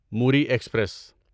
Mori express